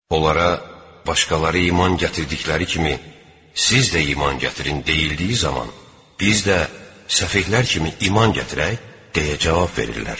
Onlara: “Başqaları iman gətirdikləri kimi, siz də iman gətirin” – deyildiyi zaman: “Biz də səfehlər kimi iman gətirək?” – deyə cavab verirlər.